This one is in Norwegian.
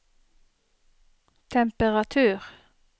temperatur